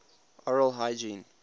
oral hygiene